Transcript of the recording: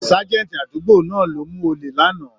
Ságẹ́ńtì àdúgbò náà ló mú ole lánàá.